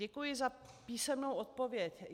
Děkuji za písemnou odpověď.